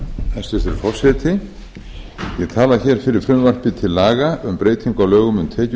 hæstvirtur forseti ég tala hér fyrir frumvarpi til laga um breytingu á lögum um